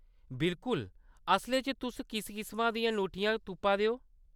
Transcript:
बिल्कुल, असलै च, तुस कुस किसमा दियां ङूठियां तुप्पा दे ओ ?